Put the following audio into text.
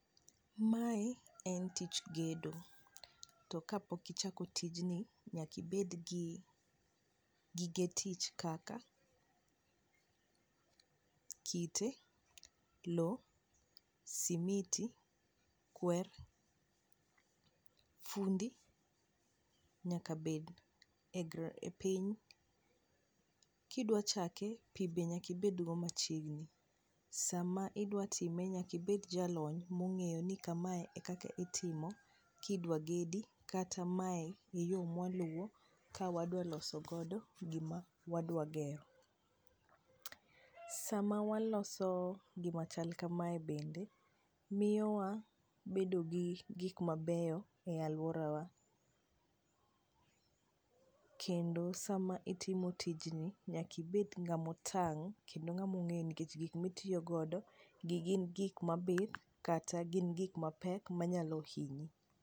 mae en tich gedo to kapok ichako tijni nyaka ibed gi gige tich kaka kite, lo ,simiti, kwer fundi nyaka bed piny, kidwa chake pi be nyaka ibed go machiegni ,sam idwa time nyaka ibed jalony mong'eyo ni kamae e kaka itimo kidwa gedi, kata mae e yo mwaluwo kawa dwa loso gima wadwa gero, sama waloso gima chal kamae bende miyowa wabedo gi gik mabeyo e aluorawa, kendo sama watimo tijni nyaka ibed ngama otang kendo ng'ama ong'eyo ni kech gik mitiyo godo gi gin kik mapith kata gik mapek manyalo hinyi.